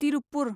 Tiruppur